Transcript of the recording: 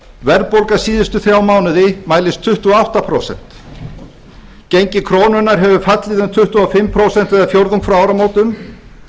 verðbólga síðustu þrjá mánuði mælist tuttugu og átta prósent gengi krónunnar hefur fallið um tuttugu og fimm prósent eða fjórðung frá áramótum